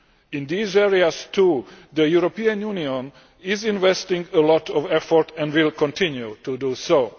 In these areas too, the European Union is investing a lot of effort and will continue to do so.